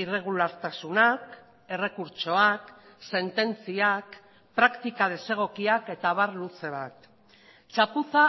irregulartasunak errekurtsoak sententziak praktika desegokiak eta abar luze bat txapuza